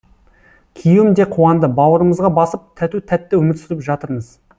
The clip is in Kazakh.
күйеуім де қуанды бауырымызға басып тату тәтті өмір сүріп жатырмыз